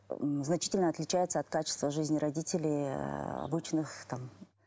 м значительно отличается от качества жизни родителей ыыы обычных там